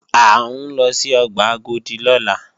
À ń lọ sí ọgbà Agodi lọ́la